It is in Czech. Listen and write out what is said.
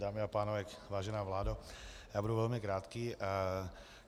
Dámy a pánové, vážená vládo, já budu velmi krátký.